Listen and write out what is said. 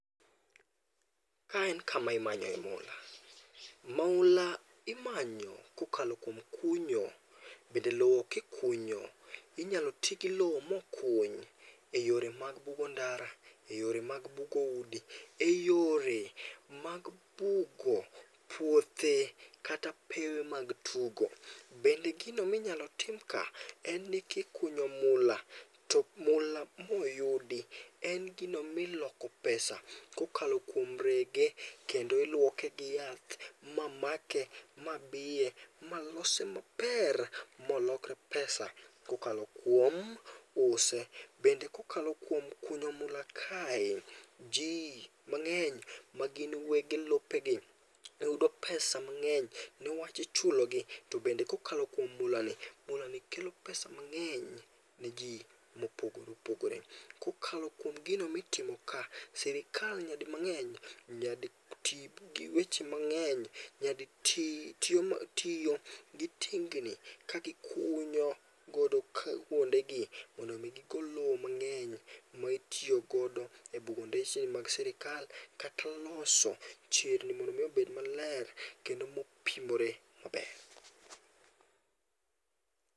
Ka en kama imanye mula. Mula imanyo kokalo kuom kunyo. Bende lowo kikunyo inyalo ti gi lowo mokuny eyore mag bugo ndara, eyore mag bugo udi, eyore mag bugo puothe kata pewe mag tugo. Bende gigo minyalo tim ka, en ni kikunyo mula, to mula moyudi en gino miloko pesa kokalo kuom rege kendo iluoke gi yath ma make ma biye ma lose maber molokre pesa kokalo kuom use, bende kokalo kuom kunyo mula kae, ji mang'eny magin wuon lopegi yudo pesa mang'eny niwach ichulogi to bende kokalo kuom mulani. Mulani kelo pesa mang'eny ni ji mopogore opogore. Kokalo kuom gino mitimoka, sirkal nyadi mang'eny nyadi ti giweche mang'eny, nyaditi gitiyo gi tingni ka gikunyo godo kuondegi mondo mi gigol lowo mang'eny ma itiyo godo e bugo ndeche mag sirkal kata loso chirni mondo mi obed maler kendo mopimre maber.